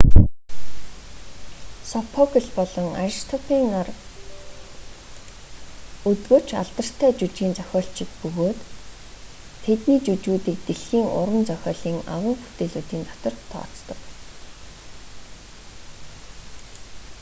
сопокл болон аристопэйн нар өдгөө ч алдартай жүжгийн зохиолчид бөгөөд тэдний жүжгүүдийг дэлхийн уран зохиолын агуу бүтээлүүдийн дотор тооцдог